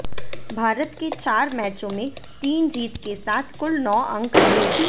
भारत के चार मैचों में तीन जीत के साथ कुल नौ अंक रहे